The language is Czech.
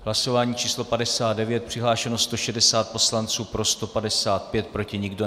Hlasování číslo 59, přihlášeno 160 poslanců, pro 155, proti nikdo.